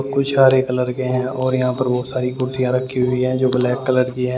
कुछ हरे कलर के हैं और यहां पर बहुत सारी कुर्सियां रखी हुई है जो ब्लैक कलर की है ।